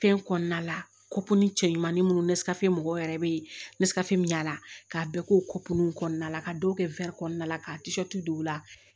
Fɛn kɔnɔna la cɛ ɲumanni minnu ne sirafɛ mɔgɔw yɛrɛ bɛ nesansi min yala k'a bɛɛ kopew kɔnɔna la ka dɔw kɛ kɔnɔna la ka don o la